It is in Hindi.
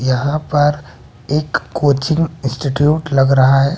यहां पर एक कोचिंग इंस्टिट्यूट लग रहा है।